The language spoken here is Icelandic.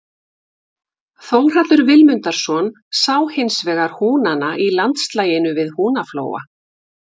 Þórhallur Vilmundarson sá hinsvegar húnana í landslaginu við Húnaflóa.